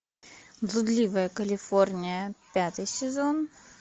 блудливая калифорния пятый сезон